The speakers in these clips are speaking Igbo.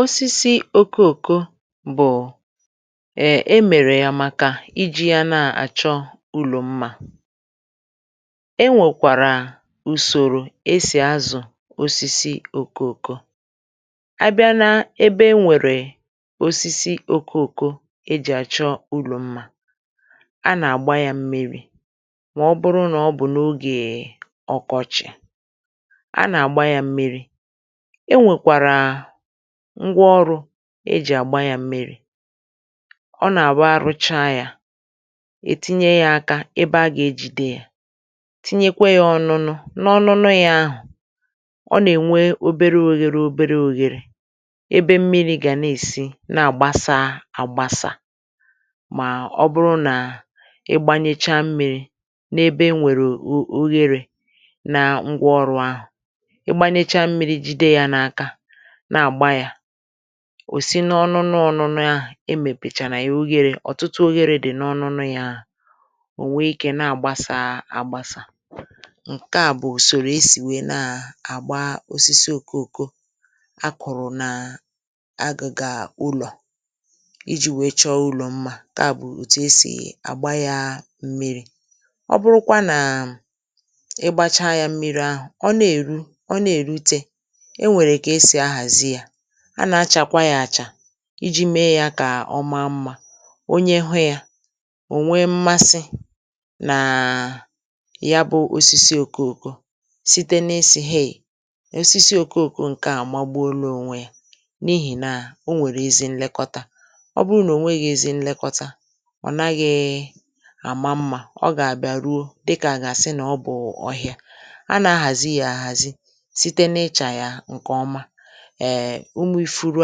osisi okooko bụ̀ e mèrè ya màkà iji ya na-àchọ ùlọ mmȧ e nwèkwàrà ùsòrò e sì azụ̀ osisi okooko a bịa nȧ ebe e nwèrè osisi okooko e jì àchọ ùlọ̀ mmȧ a nà-àgba yȧ mmiri̇ mà ọ bụrụ nà ọ bụ̀ nà ogè ọkọchị̀ a nà-àgba yȧ mmiri̇ ngwa ọrụ̇ e jì àgba yȧ mmịrị̇ ọ nà-àwa rụcha yȧ ètinye yȧ ȧkȧ ebe a gà-ejide yȧ tinyekwe yȧ ọnu̇nu̇ n’ọnụnu̇ yȧ ahụ̀ ọ nà-ènwe obere ȯghere obere ȯghere ebe mmịrị̇ gà na-èsi na-àgbasaȧ àgbasa mà ọ bụrụ nà ịgbȧnyecha mmi̇ri̇ n’ebe e nwèrè oghere nà ngwa ọrụ̇ ahụ̀ na-àgba yȧ òsi n’ọnụnụ ọnụnụ ahụ̀ e m èpèchàrà è oghere ọ̀tụtụ oghere dì n’ọnụnụ yȧ ò nwee ikė na-àgbasa àgbasa ǹke à bụ̀ ùsòrò esì nwee na-àgba osisi okooko a kụ̀rụ̀ nà agàgà ùlọ̀ iji̇ wèe chọọ ùlọ̇ mmȧ[um] keà bụ̀ òtù esì àgba yȧ mmiri̇ ọ bụrụkwa nà ị gbacha yȧ mmiri̇ ahụ̀ ọ na-èru ọ na-èrute a nà-achàkwa yȧ àchà iji̇ mee yȧ kà ọma mmȧ onye hụ yȧ ò nwee mmasị nàa ya bụ̇ osisi òkoòko site n’esì heì osisi òkoòko ǹkè àmagba olu ònwe yȧ n’ihì nà o nwèrè ezi nlekọta ọ bụrụ nà ò nwee gị̇ ezi nlekọta ọ naghị̇ àma mmȧ ọ gà-àbịa ruo dịkà àgàsị nà ọ bụ̀ ọhịȧ a nà-ahàzi yȧ àhàzi ee, ụmụ ifuru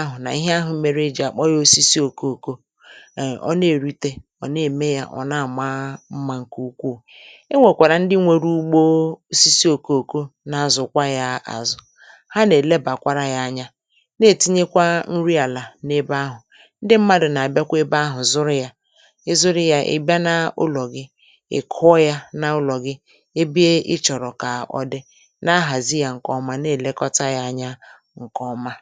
ahụ̀ nà ihe ahụ̇ mere eji àkpọ ya osisi òkoko ọ̀ na-èrite, ọ̀ na-ème ya ọ̀ na-àma mmȧ ǹkè ukwuù e nwèkwàrà ndị nwere ugbò osisi òkoko na-azụ̀kwa ya azụ̀ ha nà-èlebàkwara ya anya na-ètinyekwa nri àlà n’ebe ahụ̀ ndị mmadụ̀ nà-àbịakwa ebe ahụ̀ zụrụ ya ị zụrụ ya, ị bịa n’ùlọ̀ gị ị kụọ ya n’ùlọ̀ gị ebe ị chọ̀rọ̀ kà ọ dị na-ahàzị ya ǹkèọma na-èlekọta ya anya nkè ọma.